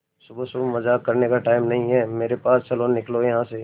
सुबह सुबह मजाक करने का टाइम नहीं है मेरे पास चलो निकलो यहां से